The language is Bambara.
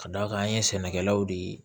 Ka d'a kan an ye sɛnɛkɛlaw de